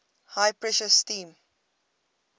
high pressure steam